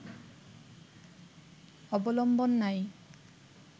অবলম্বন নাই